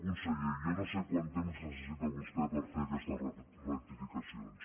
conseller jo no sé quant temps necessita vostè per fer aquestes rectificacions